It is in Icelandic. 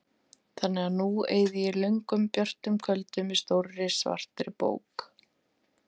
Þannig að nú eyði ég löngum björtum kvöldum með stórri svartri bók.